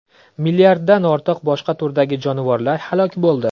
Milliarddan ortiq boshqa turdagi jonivorlar halok bo‘ldi.